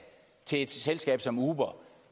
til et selskab som uber